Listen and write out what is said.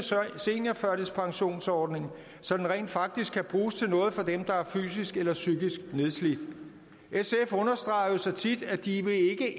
seniorførtidspensionsordning så den rent faktisk kan bruges til noget for dem der er fysisk eller psykisk nedslidt sf understreger jo så tit at de